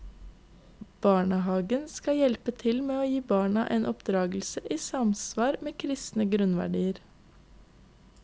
Barnehagen skal hjelpe til med å gi barna en oppdragelse i samsvar med kristne grunnverdier.